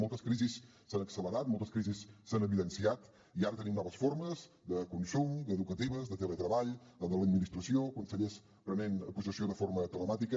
moltes crisis s’han accelerat moltes crisis s’han evidenciat i ara tenim noves formes de consum educatives de teletreball de l’administració consellers que prenen possessió de forma telemàtica